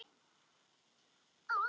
Er hann ekki í rusli?